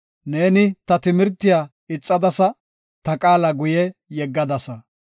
Neeni ta timirtiya ixadasa; ta qaala guye yeggadasa.